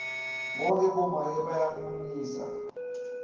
bohkhe bomake bayamunyisa